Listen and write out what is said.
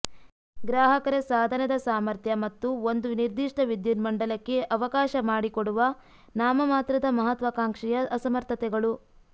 ಗ್ರಾಹಕರ ಸಾಧನದ ಸಾಮರ್ಥ್ಯ ಮತ್ತು ಒಂದು ನಿರ್ದಿಷ್ಟ ವಿದ್ಯುನ್ಮಂಡಲಕ್ಕೆ ಅವಕಾಶ ಮಾಡಿಕೊಡುವ ನಾಮಮಾತ್ರದ ಮಹತ್ವಾಕಾಂಕ್ಷೆಯ ಅಸಮರ್ಥತೆಗಳು